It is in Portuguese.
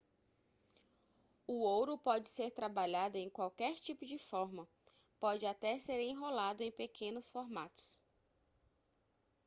o ouro pode ser trabalhado em qualquer tipo de forma pode até ser enrolado em pequenos formatos